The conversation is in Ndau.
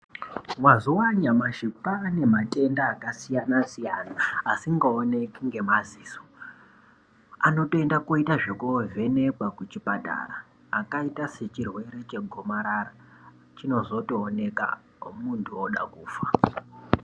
Mazuwaanyamashi kwaane matenda akasiyana siyana asingaoneki nemadziso anotoenda koita zvekoovhenekwa kuzvipatara akaita sechirwere chegomarara chinozotooneka munthu ode kufa.